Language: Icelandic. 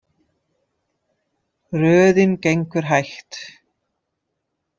Röðin gengur hægt.